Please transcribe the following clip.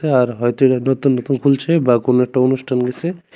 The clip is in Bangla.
আর হয়তো এরা নতুন নতুন খুলছে বা কোনও একটা অনুষ্ঠান গিসে।